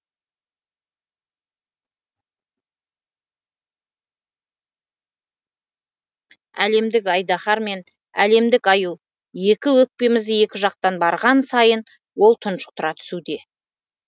әлемдік айдаһар мен әлемдік аю екі өкпемізді екі жақтан барған сайын ол тұншықтыра түсуде